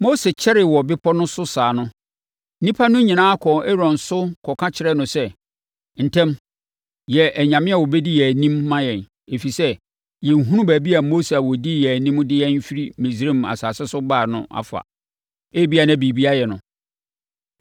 Mose kyɛree wɔ bepɔ no so saa no, nnipa no nyinaa kɔɔ Aaron so kɔka kyerɛɛ no sɛ, “Ntɛm, yɛ anyame a wɔbɛdi yɛn anim ma yɛn, ɛfiri sɛ, yɛnhunu baabi a Mose a ɔdii yɛn anim de yɛn firi Misraim asase so baa ha no afa; ebia na biribi ayɛ no.”